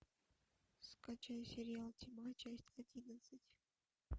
скачай сериал тьма часть одиннадцать